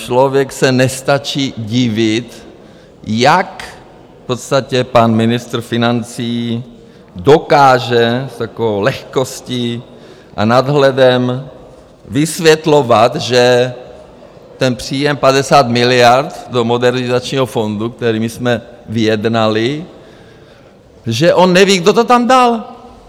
Člověk se nestačí divit, jak v podstatě pan ministr financí dokáže s takovou lehkostí a nadhledem vysvětlovat, že ten příjem 50 miliard do Modernizačního fondu, který my jsme vyjednali, že on neví, kdo to tam dal.